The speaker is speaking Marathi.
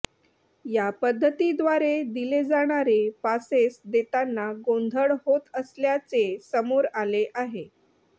या पध्दती द्वारे दिले जाणारे पासेस देतांना गोंधळ होत असल्याचे समोर आले आहे